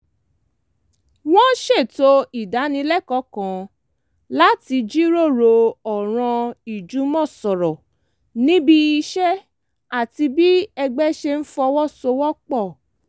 wọ́n ṣètò ìdánilẹ́kọ̀ọ́ kan láti jíròrò ọ̀ràn ìjùmọ̀sọ̀rọ̀ níbi iṣẹ́ àti bí ẹgbẹ́ ṣe ń fọwọ́ sowọ́ pọ̀